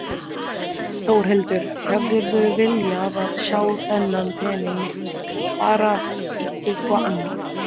Þórhildur: Hefðirðu viljað sjá þennan pening fara í eitthvað annað?